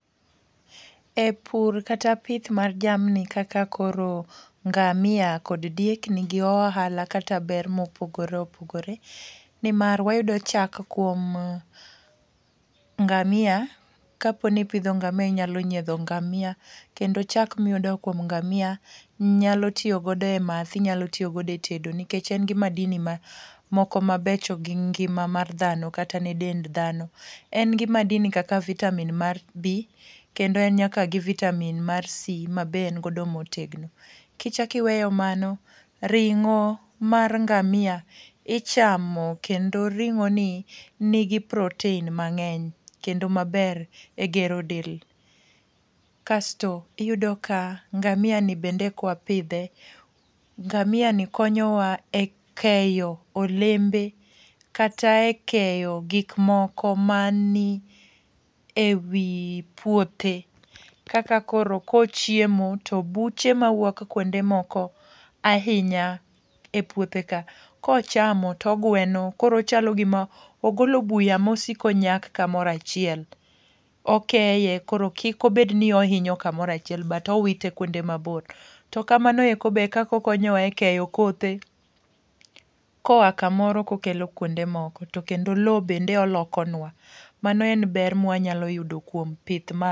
E pur kata pith mar jamni kaka koro ngamia kod diek ni gi ohala kata ber ma opogore opogore. Nimar wayudo chak kuom ngamia, kaponi ipidho ngamia inyalo nyiedho ngamia. kendo chak miyudo kuom ngamia nyalo tiyogodo e math, inyalo tiyo godo e tedo. Nikech en gi madini moko ma becho gi ngima mar dhano kata ne dend dhano. En gi madini kaka vitamin mar B, kendo en gi vitamin mar C ma be en godo motegno. Kichakiweyo mago, ring'o mar ngamia ichamo kendo ring'o ni nigi proten mang'eny kendo maber e gero del. Kasto iyudo ka ngamia ni bende kwa pidhe, ngamia ni konyowa e keyo olembe kata e keyo gik moko mani e wi puothe. Kaka koro kochiemo to buche mawuok kuonde moko ahinya e puothe ka, kochamo togweno. Koro ochalo gima ogolo buya mosiko nyak kamorachiel. Okeye koro kik obed ni ohinyo kamorachiel, but owite kwonde mabor. To kamano eko be e kakokonyowa e keyo kothe, koa kamoro kokelo kuonde moko. To kendo lo bende olokonwa, mano e ber mwa nyalo yudo kuom pith ma.